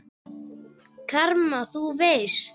Karma. þú veist?